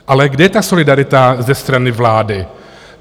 Ale kde je ta solidarita ze strany vlády?